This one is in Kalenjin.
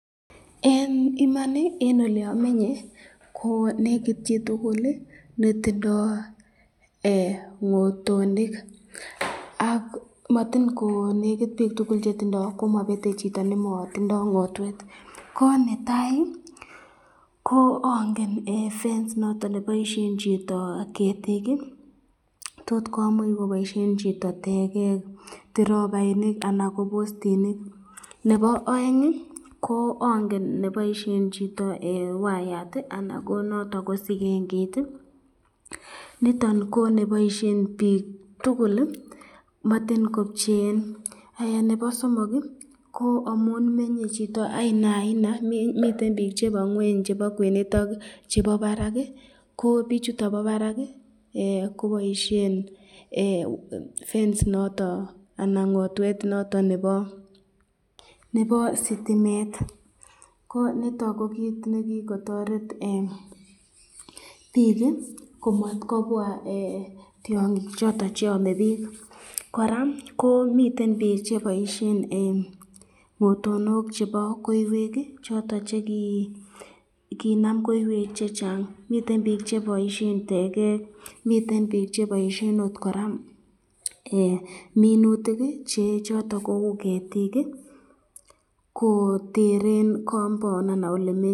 Eng Iman ,eng oleamenye ko nekit chitukul netindo ngotonik ak matin konekit chitukul netindo ,komabete chito nematindo ngotwet, ko netai ko angen eng fence noton nebaisyen chito ketik ,tot komuch koboisyen chito tekek, tirobainik anan ko bostinik, nebo aeng ko angen nebaisyen chito wayat anan ko noton ko sikengeit ,nitoni ko neboisyen bik tukul matin kopcheen ,nebo somok ko amun menye chito ainaaina, miten bik chebo ngweny chebo kwenet ak chebo barak, ko bichutan bo barak ko baisyen fence noton anan ngotwet noton nebo sitimet, ko nitoni ko kikotoret bik ko matkobwa tyangik choton cheame bik ,koraa ko miten bik cheboisyen ngotonok chebo koiywek choton che kinam koiywek chechang, miten bik cheboisyen tekek miten bik cheboisyen koraa minutik choton kou ketik ko teren compound anan elemenye.